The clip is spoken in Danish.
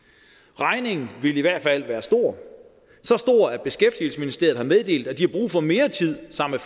regningen ville i hvert fald være stor så stor at beskæftigelsesministeriet har meddelt at de har brug for mere tid sammen